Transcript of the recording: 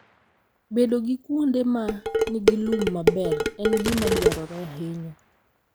Bedo gi kuonde ma nigi lum maber en gima dwarore ahinya.